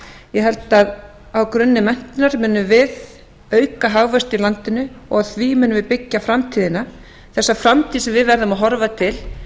ég held að á grunni menntunar munum við auka hagvöxt í landinu og á því munum við byggja framtíðina þessa framtíð sem við verðum að horfa til